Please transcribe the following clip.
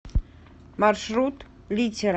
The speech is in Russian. маршрут литера